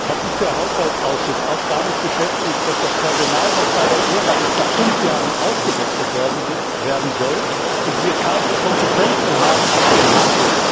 Hat sich der Haushaltsausschuss auch damit beschäftigt, dass das Personal, das bei der ERA ist, nach fünf Jahren ausgewechselt werden soll, und wir keine Kompetenzen haben auf dem Markt?